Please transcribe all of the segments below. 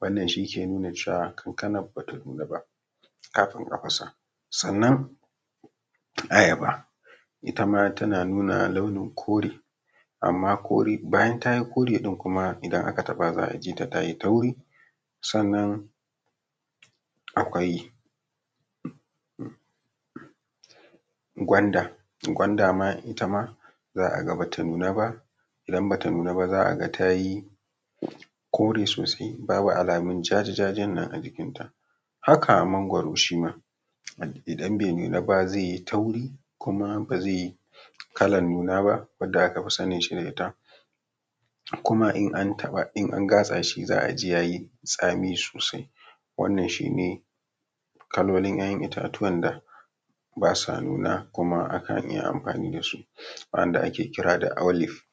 wannan shi ke nuna cewa kankanar bata nuna ba kafin a fasa. Sannan ayaba, itama tana nuna launin kore, amma bayan tayi kore kuma idan aka taɓa za a ji ta tayi tauri. Sannan akwai gwanda, gwanda ma itama za a ga bata nuna ba, idan bata nuna ba za a ga tayi kore sosai, babu alamun ja-ja-ja-jan nan ajikin ta. Haka mangwaro shima, idan bai nuna ba zai yi tauri, kuma bazai yi kalar nuna ba, wanda aka fi sanin shi da ita kuma in an taɓa in an gatsa shi za aji yayi tsami sosai, wannan shine kalolin ‘ya’yan itatuwan da basa nuna kuma akan iya amfani dasu, wanda ake kira da olive.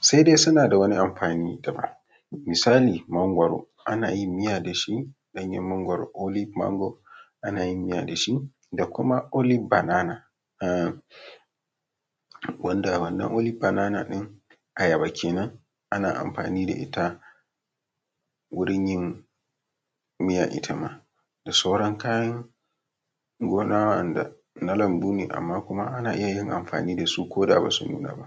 Sai dai suna da wani amfani daban, misali mangwaro, ana yin miya da shi, ɗanyen mangwaro olive mango, ana yin miya da shi da kuma oliv banana, wanda wannan olive banana ayaba kenan, ana amfani da ita wurin yin miyar itama da sauran kayan gona wa’anda na lambu ne amma kuma ana iya yin amfani dasu koda basu nuna ba.